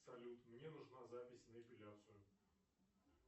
салют мне нужна запись на эпиляцию